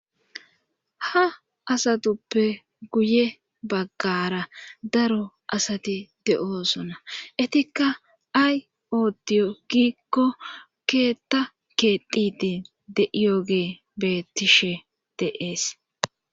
ha sintuppe guye baggara daro asati de7oosona etikka ay odiyo gikko keetta keedidi deiyooge beettishe deees